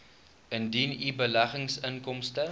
indien u beleggingsinkomste